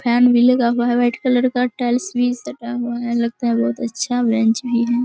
Fan भी लगा हुआ है व्हाइट कलर का टाइल्स उल भी लगा हुआ है लगता है बहुत अच्छा बेंच है।